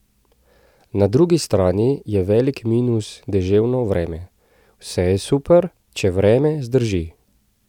Na drugi strani je velik minus deževno vreme: "Vse je super, če vreme zdrži.